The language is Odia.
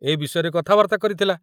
ଏ ବିଷୟରେ କଥାବାର୍ତ୍ତା କରିଥିଲା।